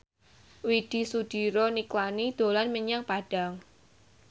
Widy Soediro Nichlany dolan menyang Padang